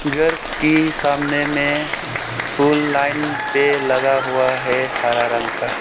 घर की सामने में फुल लाइन पेड लगा हुआ है हरा रंग का।